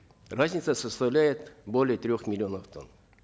разница составляет более трех миллионов тонн